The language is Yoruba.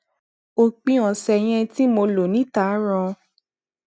òpin ọsẹ yẹn tí mo lò níta ràn